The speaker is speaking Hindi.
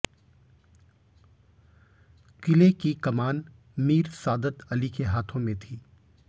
किले की कमान मीर सादत अली के हाथों में थी